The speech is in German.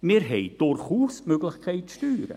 Wir haben durchaus die Möglichkeit, zu steuern.